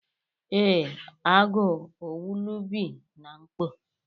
Ee, Agu owulu bi na mkpo